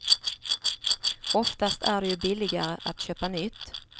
Oftast är det ju billigare att köpa nytt.